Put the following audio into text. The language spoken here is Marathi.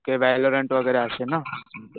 ओके, वेलोरेंट वगैरे असे ना?